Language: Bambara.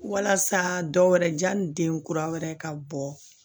Walasa dɔwɛrɛ ji ni den kura wɛrɛ ka bɔ